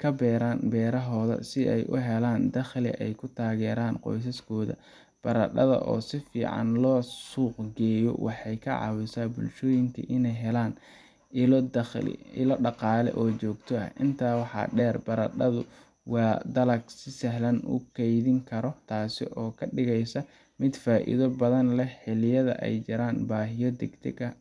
ka beeraan beerahooda si ay u helaan dakhli ay ku taageeraan qoysaskooda. Baradhada oo si fiican loo suuq geeyo waxay ka caawisaa bulshooyinka inay helaan ilo dhaqaale oo joogto ah. Intaa waxaa dheer, baradhadu waa dalag si sahlan loo kaydin karo, taas oo ka dhigaysa mid faa’iido badan leh xilliyada ay jiraan baahiyo degdeg ah